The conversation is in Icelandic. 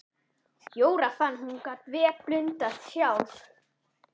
Jóra fann að hún gat vel blundað sjálf.